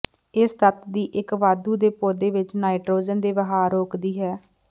ਇਸ ਤੱਤ ਦੀ ਇੱਕ ਵਾਧੂ ਦੇ ਪੌਦੇ ਵਿਚ ਨਾਈਟ੍ਰੋਜਨ ਦੇ ਵਹਾਅ ਰੋਕਦੀ ਹੈ